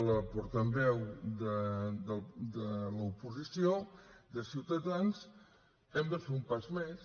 la portaveu de l’oposició de ciutadans hem de fer un pas més